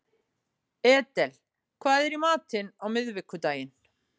Edel, hvað er í matinn á miðvikudaginn?